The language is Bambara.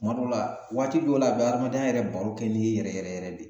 Tuma dɔw la waati dɔw la, a bɛ adamadenya yɛrɛ baro kɛ n'i ye yɛrɛ yɛrɛ yɛrɛ de.